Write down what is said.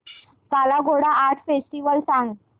काला Ghoda art festival सांग